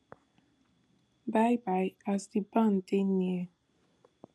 bye bye as di ban dey near